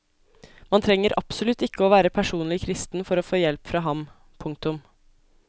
Man trenger absolutt ikke å være personlig kristen for å få hjelp fra ham. punktum